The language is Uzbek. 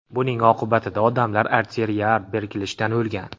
Buning oqibatida odamlar arteriyalar bekilishidan o‘lgan.